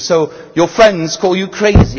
So your friends call you crazy.